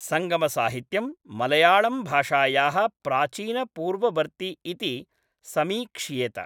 संगमसाहित्यं मळयाळंभाषायाः प्राचीनपूर्ववर्ति इति समीक्ष्येत।